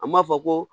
A m'a fɔ ko